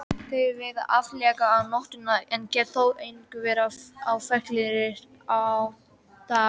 Þeir veiða aðallega á nóttunni en geta þó einnig verið á ferli á daginn.